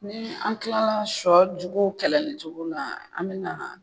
Ni an kilala shɔ jugu kɛlɛli cogo na an bɛ na